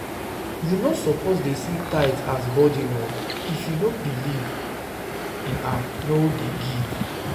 You no suppose dey see tithe as burden oo, if you no believe no believe in am no dey give